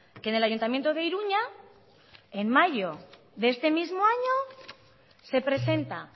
que en el ayuntamiento de iruña en mayo de este mismo año se presenta